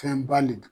Fɛn ba le don